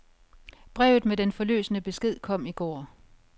Brevet med den forløsende besked kom i går.